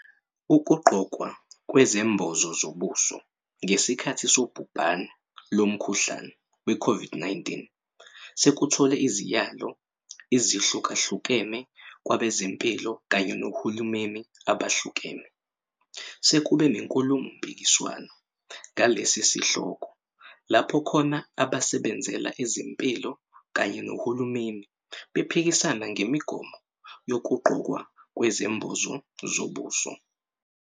Ukugqokwa kwezembozo zobuso ngesikhathi sobhubane lomkhuhlane we-COVID-19 sekuthole iziyalo izihlukahlukene kwabezempilo kanye nohulumeni abahlukene. Sekube nenkulumo mpikiswano ngalesi sihloko, lapho khona abasebenzela ezempilo kanye nohulumeni bephikisana ngemigomo yokugqokwa kwezembozo zobuso.